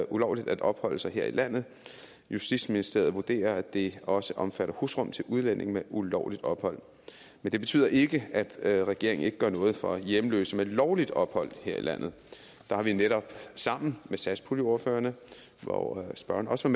ulovligt at opholde sig her i landet justitsministeriet vurderer at det også omfatter husrum til udlændinge med ulovligt ophold men det betyder ikke at regeringen ikke gør noget for hjemløse med lovligt ophold her i landet der har vi netop sammen med satspuljeordførerne hvor spørgeren også